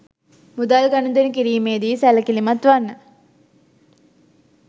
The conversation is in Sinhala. මුදල් ගනුදෙනු කිරීමේ දී සැලකිලිමත් වන්න